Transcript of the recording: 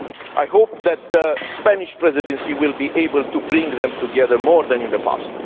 I hope that the Spanish Presidency will be able to bring them together more than in the past.